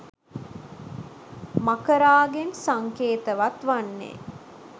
මකරාගෙන් සංකේතවත් වන්නේ